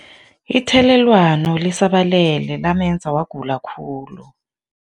Ithelelwano lisabalele lamenza wagula khulu.